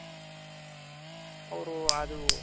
ಅವ್ರು ಅದು